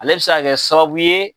Ale bi se ka kɛ sababu ye